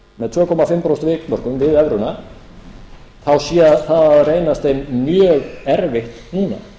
prósent vikmörkum við evruna þá sé það að reynast þeim mjög erfitt núna